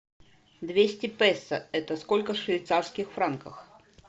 двести песо это сколько в швейцарских франках